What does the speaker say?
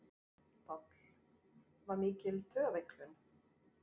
Páll: Var mikil taugaveiklun?